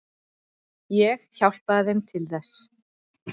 Ég hjálpaði þeim til þess.